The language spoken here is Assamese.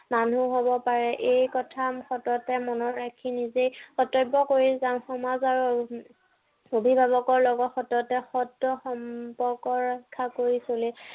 মানুহ হব পাৰে। এই কথা সততে মনত ৰাখি নিজেই কৰ্তব্য় কৰি যাম। সমাজ আৰু অভিভাৱকৰ লগত সততে সত্য় সম্পৰ্ক ৰক্ষা কৰি চলিম।